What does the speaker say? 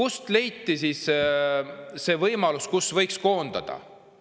et sealt võiks koondada!?